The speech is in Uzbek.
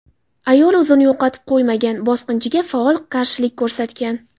Ayol o‘zini yo‘qotib qo‘ymagan, bosqinchiga faol qarshilik ko‘rsatgan.